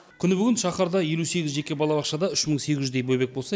күні бүгін шаһарда елу сегіз жеке балабақшада үш мың сегіз жүздей бөбек болса